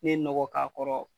Ne ye nɔkɔ k'a kɔrɔ